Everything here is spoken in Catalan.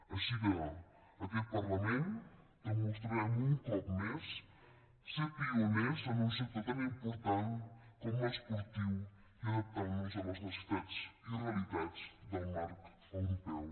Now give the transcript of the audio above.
així que en aquest parlament demostrarem un cop més ser pioners en un sector tan important com l’esportiu i adaptant nos a les necessitats i realitats del marc europeu